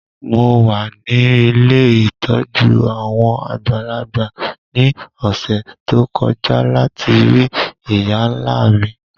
Mo wa ni ilé ìtójú àwon àgbàlagbà ni ọ̀ṣẹ̀ to kọja lati rii ìyá-nla mi.